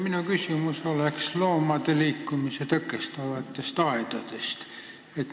Minu küsimus on loomade liikumist tõkestavate aedade kohta.